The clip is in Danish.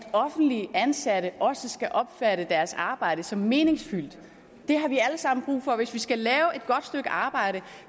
at offentligt ansatte også skal opfatte deres arbejde som meningsfyldt det har vi alle sammen brug for hvis vi skal lave et godt stykke arbejde